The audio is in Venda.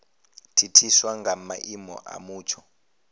thithiswa nga maimo a mutsho